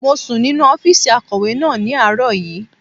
Mo sùn nínu ọ́fìsì akọ̀wé náà ní àárọ̀ yìí